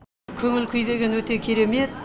көңіл күй деген өте керемет